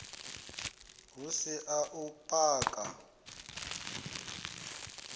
hu si a u paka